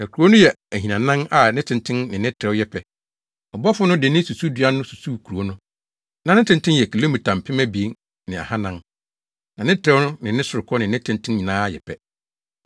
Na kurow no yɛ ahinanan a ne tenten ne ne trɛw yɛ pɛ. Ɔbɔfo no de ne susudua no susuw kurow no. Na ne tenten yɛ kilomita mpem abien ne ahannan (2,400), na ne trɛw, ne sorokɔ ne ne tenten nyinaa yɛ pɛ.